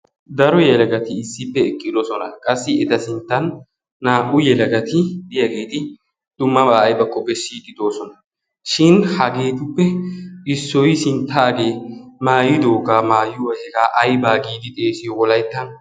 Daro. yelagati issippe eqqidosona. Qassi eta sinttan naa"u yelagati diyageeti dummabaa aybakko bessiiddi doosona. Shin hageetuppe issoyi sinttaagee maayidoogaa maayuwa aybaa giidi xeesiyo wolayttan.